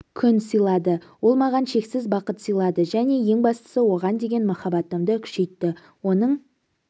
күн сыйлады ол маған шексіз бақыт сыйлады және ең бастысы оған деген махаббатымды күшейтті оның